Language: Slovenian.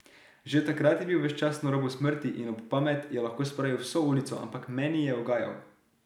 Že takrat je bil ves čas na robu smrti in ob pamet je lahko spravil vso ulico, ampak meni je ugajal.